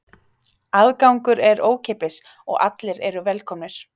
Aðgangur er ókeypis og allir eru velkomnir.